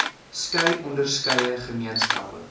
skei onderskeie gemeenskappe